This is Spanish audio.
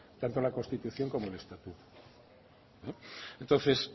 tanto la constitución como el estatuto entonces